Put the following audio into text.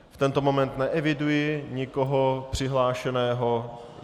V tento moment neeviduji nikoho přihlášeného.